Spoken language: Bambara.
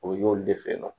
O y'olu de fe yen nɔ